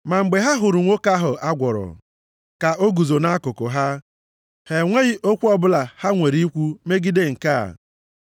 Ma mgbe ha hụrụ nwoke ahụ a gwọrọ, ka o guzo nʼakụkụ ha, ha enweghị okwu ọbụla ha nwere ikwu megide nke a.